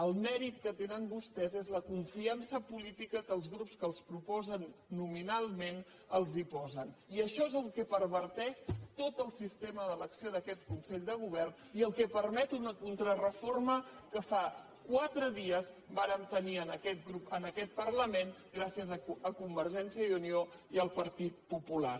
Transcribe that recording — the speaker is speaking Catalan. el mèrit que tenen vostès és la confiança política que els grups que els proposen nominalment els posen i això és el que perverteix tot el sistema d’elecció d’aquest consell de govern i el que permet una contrareforma que fa quatre dies vàrem tenir en aquest parlament gràcies a convergència i unió i al partit popular